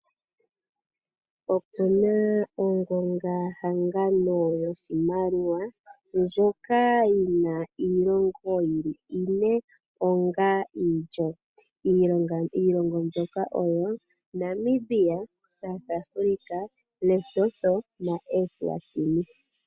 Opu na ongongahangano yoshimaliwa ndjoka yi na iilongo yi li ine onga iilyo. Iilongo mbyoka oyo Namibia, South Africa, Lesotho naEswatini.